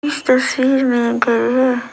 इस तस्वीर में एक घर है।